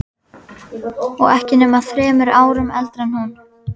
Og ekki nema þremur árum eldri en hún.